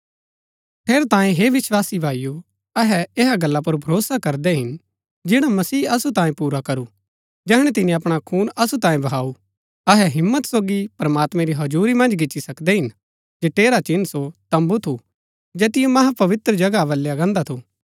ठेरैतांये हे विस्वासी भाईओ अहै ऐहा गल्ला पुर भरोसा करदै हिन जैड़ा मसीह असु तांये पुरा करू जैहणै तिनी अपणा खून असु तांये बहाऊ अहै हिम्मत सोगी प्रमात्मैं री हजुरी मन्ज गिच्ची सकदै हिन जठेरा चिन्ह सो तम्बू थू जैतिओ महापवित्र जगह बलया गान्दा थू